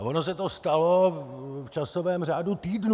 A ono se to stalo v časovém řádu týdnů.